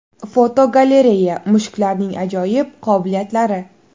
Fotogalereya: Mushuklarning ajoyib qobiliyatlari.